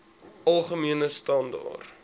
algemene standaar